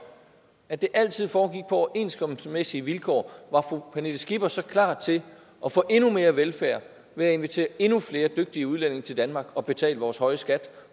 at det altid foregik på overenskomstmæssige vilkår var fru pernille skipper så klar til at få endnu mere velfærd ved at invitere endnu flere dygtige udlændinge til danmark som kan betale vores høje skat